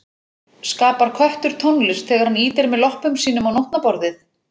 Skapar köttur tónlist þegar hann ýtir með loppum sínum á nótnaborðið?